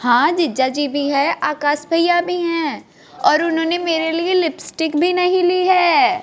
हां जीज्जा जी भी है आकाश भैया भी हैं और उन्होंने मेरे लिए लिपस्टिक भी नहीं ली है।